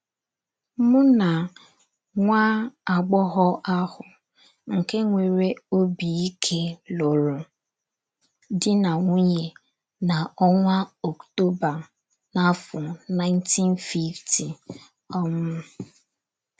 Mụ na nwa agbọghọ ahụ nke nwere obi ike lụrụ di na nwunye n’onwa Ọktoba n'afọ 1950 um.